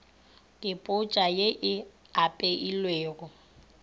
ke potsa ye e apeilwego